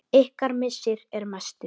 Ykkar missir er mestur.